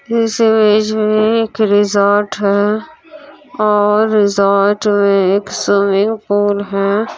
इस इमेज में एक रिसोर्ट है और रिसोर्ट में एक स्वीमिंग पूल है।